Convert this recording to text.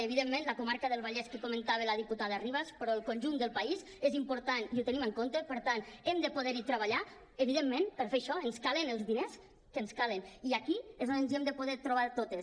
evidentment la comarca del vallès que comentava la diputada ribas però el conjunt del país és important i ho tenim en compte per tant hem de poder treballar evidentment i per fer això ens calen els diners que ens calen i aquí és on ens hem de poder trobar totes